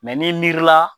n'i miiri la